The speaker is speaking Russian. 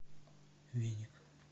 веник